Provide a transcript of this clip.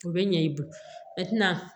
O bɛ ɲɛ i bolo i tɛna